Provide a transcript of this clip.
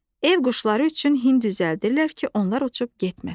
Ev quşları üçün hin düzəldirlər ki, onlar uçub getməsin.